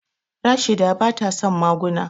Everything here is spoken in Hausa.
Rashida bata son maguna.